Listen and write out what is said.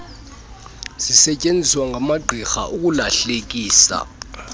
zisetyeenziswa ngamagqirha ukulahlekisa